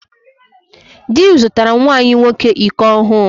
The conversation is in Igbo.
Dị m zụtara nwa anyị nwoke iko ọhụụ.